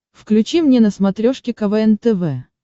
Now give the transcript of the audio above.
включи мне на смотрешке квн тв